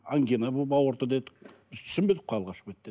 ангина болып ауырды дедік біз түсінбедік қой алғашқы бетте